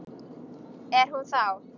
Er hún þá.